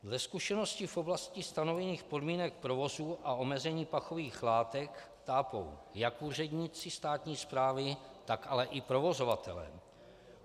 Ze zkušenosti v oblasti stanovených podmínek provozu a omezení pachových látek tápou jak úředníci státní správy, tak ale i provozovatelé.